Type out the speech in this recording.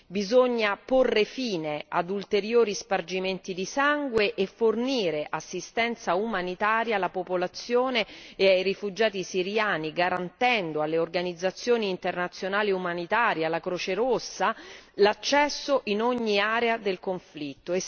Bisogna porre fine ad ulteriori spargimenti di sangue e fornire assistenza umanitaria alla popolazione e ai rifugiati siriani garantendo alle organizzazioni internazionali umanitarie, alla Croce Rossa, l'accesso in ogni area del conflitto.